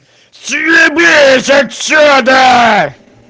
съебись отсюда